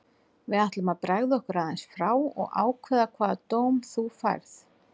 Við ætlum að bregða okkur aðeins frá og ákveða hvaða dóm þú færð.